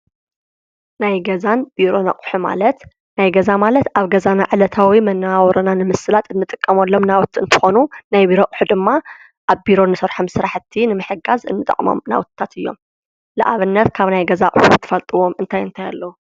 ናይ ገዛን ቢሮን ኣቁሑ ማለት ፡- ናይ ገዛ ማለት ኣብ ገዛና ዕለታዊ መነባብሮና ንምስላጥ እንጥቀመሎም ናውቲ እንትኮኑ ናይ ቢሮ ኣቁሑ ድማ ኣብ ቢሮ እንሰርሖም ስራሕቲ ንምሕጋዝ እንጠቅሞም ናውቲታት እዮም፡፡ ንኣብነት ካብ ናይ ገዛ ኣቁሕት እትፈልጥዎም እንታት እንታይ ኣለዉ?